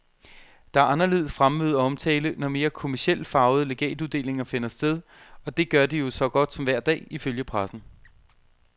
Der er anderledes fremmøde og omtale, når mere kommercielt farvede legatuddelinger finder sted, og det gør de jo så godt som hver dag, ifølge pressen.